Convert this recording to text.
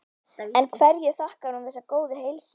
En hverju þakkar hún þessa góðu heilsu?